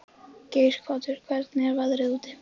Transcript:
Geirhvatur, hvernig er veðrið úti?